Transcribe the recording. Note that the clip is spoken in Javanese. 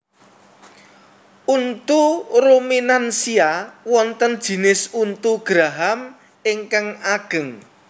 Untu ruminansia wonten jinis untu geraham ingkang ageng